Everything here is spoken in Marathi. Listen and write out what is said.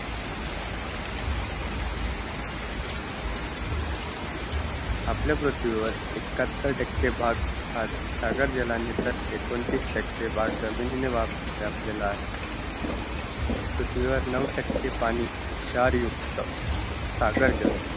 आपल्या पृथ्वीवर एक्काहत्तरतकें भाग सागर जलाने तर एकोणतिसतके भाग जमिनीने व्यापलेला आहे पृथ्वीवर नऊ पाणी शार युक्त सागर जल